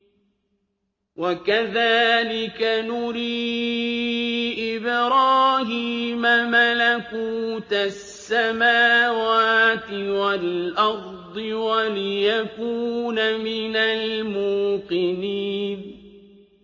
وَكَذَٰلِكَ نُرِي إِبْرَاهِيمَ مَلَكُوتَ السَّمَاوَاتِ وَالْأَرْضِ وَلِيَكُونَ مِنَ الْمُوقِنِينَ